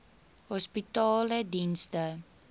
hospitaledienste